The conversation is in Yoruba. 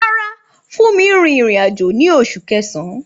Rárá, Funmi rin ìrìn-àjò ní Oṣù Kẹsàn-án.